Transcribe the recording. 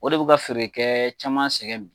O de bɛ ka feerekɛ caman sɛgɛn bi.